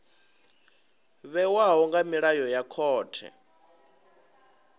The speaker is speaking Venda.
vhewaho nga milayo ya khothe